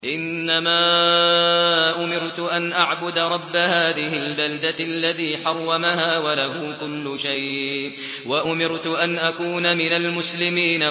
إِنَّمَا أُمِرْتُ أَنْ أَعْبُدَ رَبَّ هَٰذِهِ الْبَلْدَةِ الَّذِي حَرَّمَهَا وَلَهُ كُلُّ شَيْءٍ ۖ وَأُمِرْتُ أَنْ أَكُونَ مِنَ الْمُسْلِمِينَ